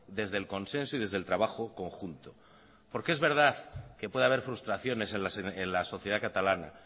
desde el consenso y desde el trabajo conjunto porque es verdad que puede haber frustraciones en la sociedad catalana